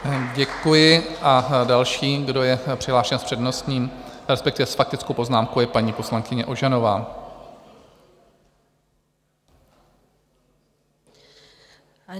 Děkuji a další, kdo je přihlášen s přednostním, respektive s faktickou poznámkou, je paní poslankyně Ožanová.